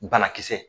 Banakisɛ